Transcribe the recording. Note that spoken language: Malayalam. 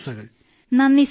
നന്ദി സർ നന്ദി സർ